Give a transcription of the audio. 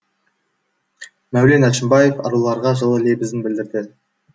мәулен әшімбаев аруларға жылы лебізін білдірді